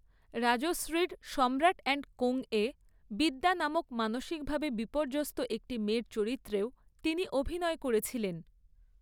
রাজশ্রীর Samrat and Co এ 'দিব্যা' নামক মানসিকভাবে বিপর্যস্ত একটি মেয়ের চরিত্রেও তিনি অভিনয় করেছিলেন।